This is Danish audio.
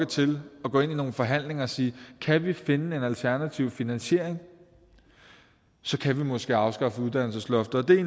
til at gå ind i nogle forhandlinger og sige at kan vi finde en alternativ finansiering kan vi måske afskaffe uddannelsesloftet det er